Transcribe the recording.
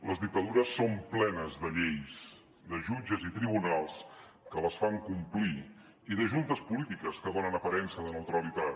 les dictadures són plenes de lleis de jutges i tribunals que les fan complir i de juntes polítiques que donen aparença de neutralitat